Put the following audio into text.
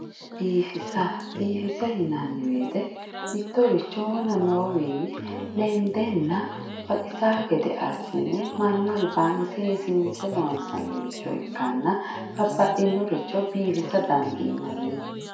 Biifisa biifisa yinanni woyiite mittoricho wona noowinni lendenna baxisa gede assine mannu albaanni seesiinse loonsannire ikkana babbaxxeyooricho biifisa dandiinanni